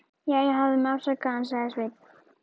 Jæja, hafðu mig afsakaðan, sagði Sveinn.